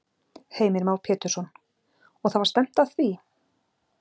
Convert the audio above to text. Heimir Már Pétursson: Og það var stefnt að því?